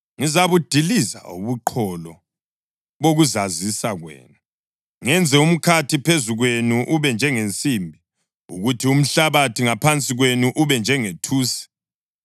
Ngizabudiliza ubuqholo bokuzazisa kwenu, ngenze umkhathi phezu kwenu ube njengensimbi, kuthi umhlabathi ngaphansi kwenu ube njengethusi.